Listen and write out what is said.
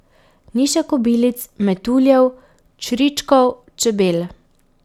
Ni še kobilic, metuljev, čričkov, čebel.